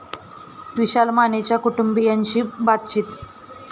विशाल मानेच्या कुटुंबीयांशी बातचित